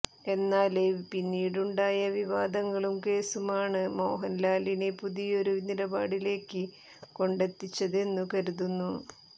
എന്നാല് പിന്നീടുണ്ടായ വിവാദങ്ങളും കേസുമാണ് മോഹന്ലാലിനെ പുതിയൊരു നിലപാടിലേക്ക് കൊണ്ടെത്തിച്ചതെന്നു കരുതുന്നു